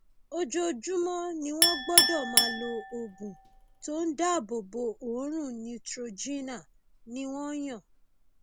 ojoojúmọ ni wọn gbọdọ máa lo oògùn tó ń dáàbò bo oòrùn neutrogena ni wọn yàn